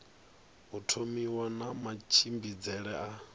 u thomiwa na matshimbidzele a